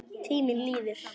Tíminn líður.